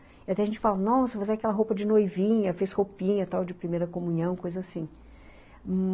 Até a gente fala, nossa, mas é aquela roupa de noivinha, fez roupinha tal de primeira comunhão, coisa assim,